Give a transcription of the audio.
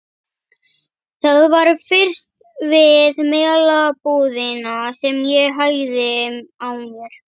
Það var fyrst við Melabúðina sem ég hægði á mér.